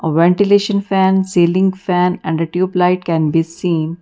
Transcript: Ventilation fan ceiling fan and a tube light can be seen.